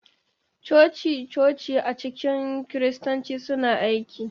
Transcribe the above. Coci-coci a cikin Kiristanci suna aiki.